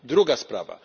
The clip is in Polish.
Druga sprawa.